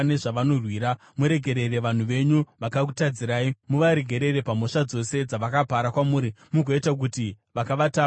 Muregerere vanhu venyu, vakakutadzirai; muvaregerere pamhosva dzose dzavakapara kwamuri, mugoita kuti vakavatapa vavanzwire tsitsi;